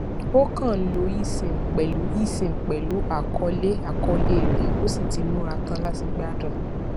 o kàn ń lo esim pẹlú esim pẹlú àkọọlẹ àkọọlẹ rẹ o sì ti múra tán láti gbádùn